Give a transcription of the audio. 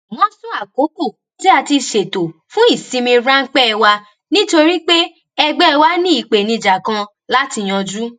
wọn sún àkókò tí a ti ṣètò fún ìsinmi ránpẹ wa nítorí pé ẹgbé wa ní ìpèníjà kan láti yanjú